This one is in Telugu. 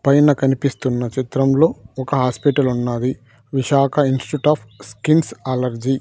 పైన కనిపిస్తున్న చిత్రంలో ఒక హాస్పిటల్ ఉన్నది Visakha institute of skins allergy .